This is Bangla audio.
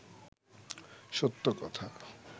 সত্য কথা